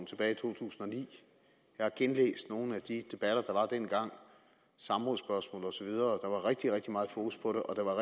tilbage i to tusind og ni jeg har genlæst nogle af de debatter der var dengang samrådsspørgsmål og så videre der var rigtig rigtig meget fokus på det og der var